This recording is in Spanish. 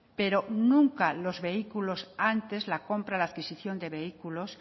pero nunca los vehículos antes la compra la adquisición de vehículos